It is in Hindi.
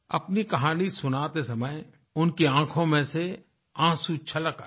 अपनी कहानी सुनाते समय उनकी आँखों में से आंसू छलक आये